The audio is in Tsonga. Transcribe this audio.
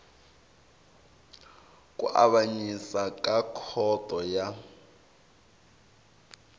ku avanyisa ka khoto ya